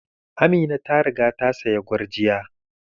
Amina ta riga ta saya gurjiya.